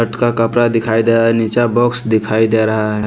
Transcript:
का कपड़ा दिखाई दे रहा है नीचे बॉक्स दिखाई दे रहा है।